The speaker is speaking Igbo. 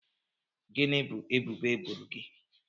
Gịnị bụ ebubo eboro gị?